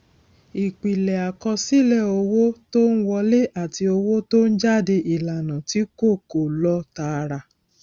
ìpìlẹ àkọsílẹ owó tó ń wọlé àti owó tó ń jáde ìlànà tí kò kò lọ tààrà